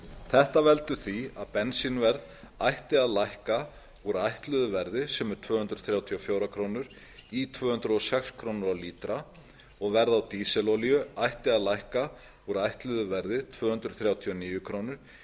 þetta veldur því að bensínverð ætti að lækka úr ætluðu verði sem er tvö hundruð þrjátíu og fjórar krónur í tvö hundruð og sex krónur á lítra og verð á dísilolíu ætti að lækka úr ætluðu verði tvö hundruð þrjátíu og níu krónur